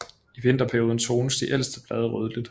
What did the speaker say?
I vinterperioden tones de ældste blade rødligt